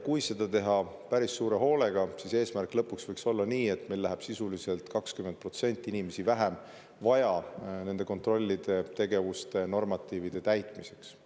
Kui seda teha päris suure hoolega, siis eesmärk võiks lõpuks olla selline, et meil läheks sisuliselt 20% inimesi vähem vaja nende kontrollide jaoks ja normatiivide täitmiseks.